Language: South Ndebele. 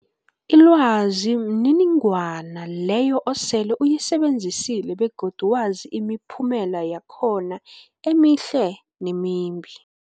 Ilwazi mniningwana leyo osele uyisebenzisile begodu wazi imiphumela yakhona emihle nemimbi.